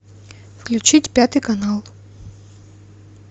включить пятый канал